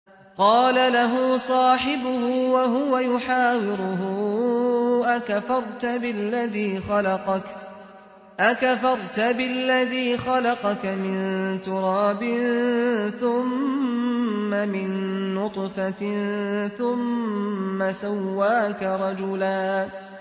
قَالَ لَهُ صَاحِبُهُ وَهُوَ يُحَاوِرُهُ أَكَفَرْتَ بِالَّذِي خَلَقَكَ مِن تُرَابٍ ثُمَّ مِن نُّطْفَةٍ ثُمَّ سَوَّاكَ رَجُلًا